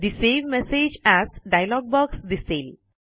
ठे save message as dialog box दिसेल